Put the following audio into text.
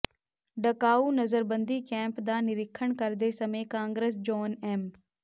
Dachau ਨਜ਼ਰਬੰਦੀ camp ਦਾ ਨਿਰੀਖਣ ਕਰਦੇ ਸਮੇਂ ਕਾਗਰਸ ਜੌਨ ਐਮ